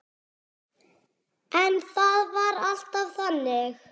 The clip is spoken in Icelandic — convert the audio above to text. En það var alltaf þannig.